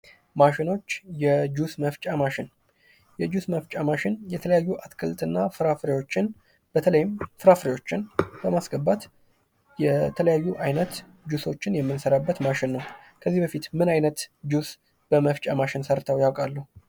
ማሽኖች የጁስ መፍጫ ማሽን የጁስ መፍጫ ማሽን የተለያዩ አትክልትና ፍራፍሬዎችን በተለይም ፍራፍሬዎችን በማስገባት የተለያዩ አይነት ጁሶችን የምንሰራበት ማሽን ነው። ከዚህ በፊት ምን አይነት ጁስ በመፍጫ ማሽን ሰርተው ያውቃሉ?